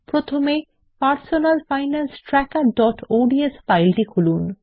প্রথমে personal finance trackerঅডস ফাইলটি খুলুন